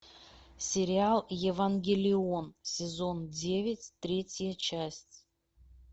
сериал евангелион сезон девять третья часть